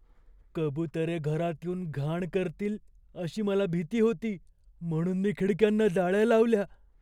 कबुतरे घरात येऊन घाण करतील अशी मला भीती होती, म्हणून मी खिडक्यांना जाळ्या लावल्या.